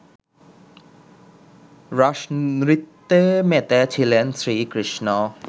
রাসনৃত্যে মেতেছিলেন শ্রীকৃষ্ণ